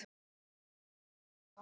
En þetta venst.